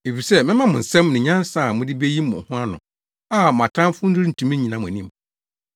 Efisɛ mɛma mo nsɛm ne nyansa a mode beyi mo ho ano a mo atamfo rentumi nnyina mo anim.